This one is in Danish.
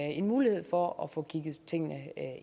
en mulighed for at få kigget tingene